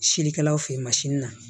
Silikɛlaw fe ye masini na